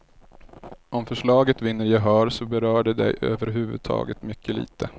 Om förslaget vinner gehör så berör det dig över huvud taget mycket lite.